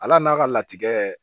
Ala n'a ka latigɛ